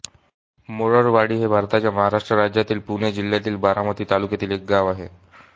मोरळवाडी हे भारताच्या महाराष्ट्र राज्यातील पुणे जिल्ह्यातील बारामती तालुक्यातील एक गाव आहे